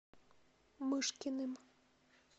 мышкиным